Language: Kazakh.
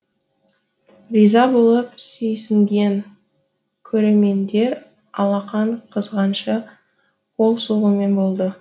риза болып сүйсінген көрермендер алақан қызғанша қол соғумен болды